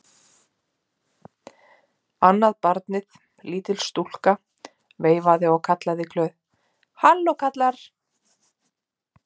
Annað barnið, lítil stúlka, veifaði og kallaði glöð:-Halló kallar!